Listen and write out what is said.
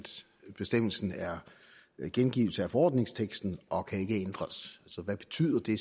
bestemmelsen er en gengivelse af forordningsteksten og ikke kan ændres så hvad betyder det